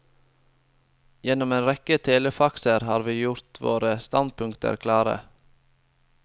Gjennom en rekke telefaxer har vi gjort våre standpunkter klare.